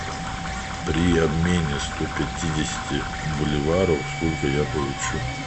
при обмене сто пятидесяти боливаров сколько я получу